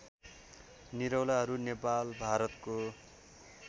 निरौलाहरू नेपाल भारतको